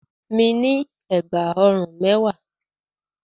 Mi ní ẹ̀gbà ọrùn mẹ́wàá.